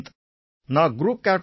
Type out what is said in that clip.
நான் group captain ஏ